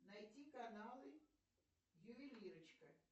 найти каналы ювелирочка